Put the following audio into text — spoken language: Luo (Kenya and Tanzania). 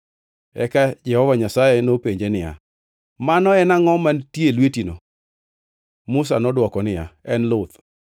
Eka Jehova Nyasaye nopenje niya, “Mano en angʼo mantie e lwetino?” Musa nodwoko niya, “En luth.”